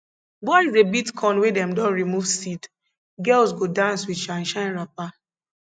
boys dey beat corn wey dem don remove seed girls go dance with shine shine wrapper